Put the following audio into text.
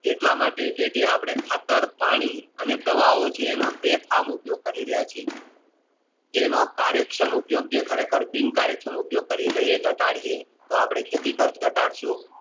એટલા માટે કે જે આપણે ખાતર પાણી અને અને દવા ઓ છે એનો અપને બેફામ ઉપયોગ કરી રહહ છીએ જેનો કરેક્ષમ ઉપયોગ જે બિન Correction ઉપયોગ તળિયે તો આપણે ખેતી કાશ ઘટાડશુ